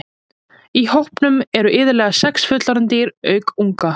Í hópnum eru iðulega sex fullorðin dýr auk unga.